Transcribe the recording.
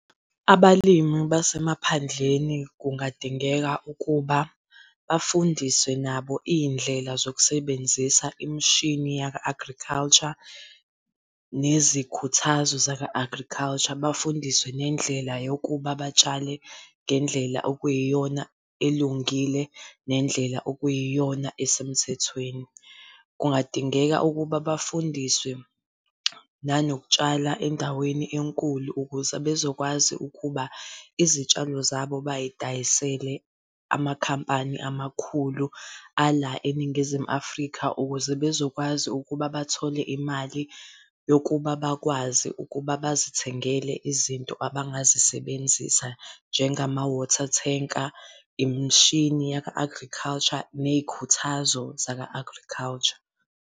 Abalimi basemaphandleni kungadingeka ukuba bafundiswe nabo iy'ndlela zokusebenzisa imishini yaka-agriculture, nezikhuthazo zaka agriculture, bafundiswe nendlela yokuba batshale ngendlela okuyiyona elungile nendlela okuyiyona esemthethweni. Kungadingeka ukuba bafundiswe nanokutshala endaweni enkulu ukuze bezokwazi ukuba izitshalo zabo bayidayisele amakhampani amakhulu ala, eNingizimu Afrika ukuze bezokwazi ukuba bathole imali yokuba bakwazi ukuba bazithengele izinto abangazisebenzisa njengama-water tanker, Imishini yaka-agriculture, ney'khuthazo zaka-agriculture.